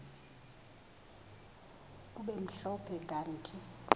kube mhlophe kanti